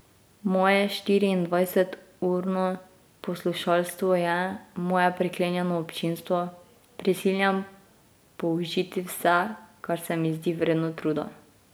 Moje štiriindvajseturno poslušalstvo je, moje priklenjeno občinstvo, prisiljen použiti vse, kar se mi zdi vredno truda.